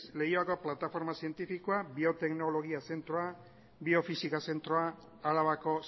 leioako plataforma zientifikoa bioteknologia zentroa biofisika zentroa arabako